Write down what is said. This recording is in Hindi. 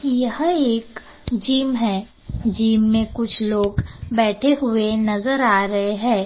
यह एक जिम है जिम में कुछ लोग बैठे हुए नजर आ रहे है।